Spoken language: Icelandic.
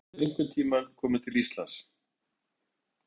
Hefurðu einhvern tíma komið til Íslands?